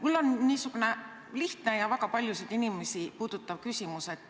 Mul on niisugune lihtne ja väga paljusid inimesi puudutav küsimus.